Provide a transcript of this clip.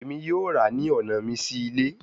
Emi yoo ra ni ọna mi si ile